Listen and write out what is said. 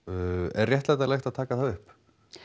er réttlætanlegt að taka það upp